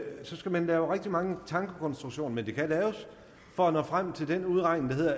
skal man lave rigtig mange tankekonstruktioner men de kan laves for at nå frem til den udregning